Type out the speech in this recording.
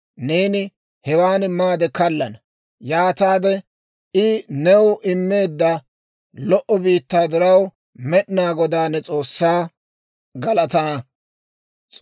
Neeni hewan maade kallana; yaataade, I new immeedda lo"o biittaa diraw, Med'inaa Godaa ne S'oossaa galatana.